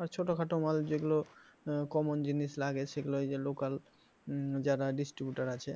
আর ছোটখাটো মাল যেগুলো common জিনিস লাগে সেগুলো এই যে local যারা distributor আছে